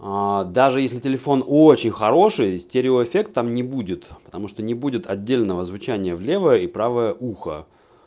а даже если телефон очень хороший стереоэффекта там не будет потому что не будет отдельного звучание в левое и правое ухо